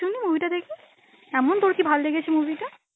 শুনি movie টা দেখি, এমন তোর কি ভাল লেগেছে movie টা?